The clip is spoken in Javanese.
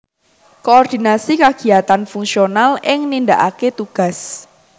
Koordinasi kagiyatan fungsional ing nindakaké tugas